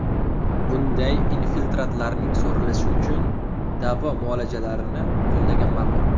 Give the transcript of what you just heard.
Bunday infiltratlarning so‘rilishi uchun davo muolajalarini qo‘llagan maqul.